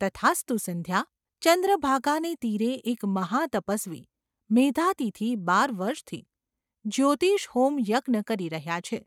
‘તથાસ્તુ, સંધ્યા ! ચંદ્રભાગાને તીરે એક મહા તપસ્વી મેધાતિથિ બાર વર્ષથી જ્યોતિષ્હોમ યજ્ઞ કરી રહ્યા છે.